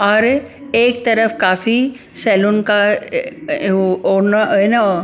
और एक तरफ काफी सैलून का अ अ ए ए ओ ना ए नो --